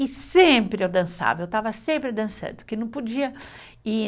E sempre eu dançava, eu estava sempre dançando, porque não podia ir.